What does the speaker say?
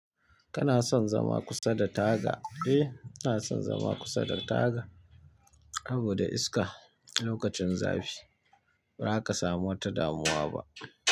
Kana son zama kusa da taga? Eh, ina son zama kusa da taga saboda iska lokacin zafi, bazaka samu wata damuwa ba.